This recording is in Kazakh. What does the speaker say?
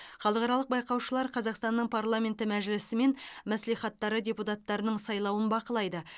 халықаралық байқаушылар қазақстанның парламенті мәжілісі мен мәслихаттары депутаттарының сайлауын бақылайды